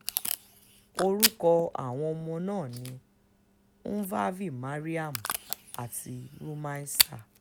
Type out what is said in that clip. orúkọ àwọn ọmọ ọ̀hún ni nuvave maryam àti rùmaísa